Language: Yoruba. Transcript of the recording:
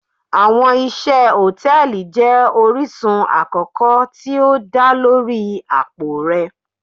Awọn iṣẹ hòtẹ́ẹ̀lì jẹ orisun akoko ti o da lori apo rẹ.